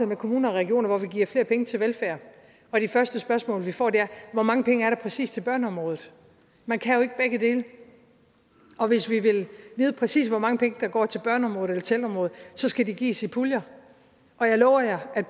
med kommuner og regioner hvor vi giver flere penge til velfærd og det første spørgsmål vi får er hvor mange penge der præcis er til børneområdet man kan jo ikke begge dele og hvis vi vil vide præcis hvor mange penge der går til børneområdet eller til ældreområdet så skal de gives i puljer og jeg lover jer at